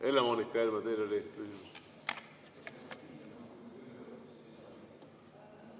Helle-Moonika Helme, teil oli küsimus.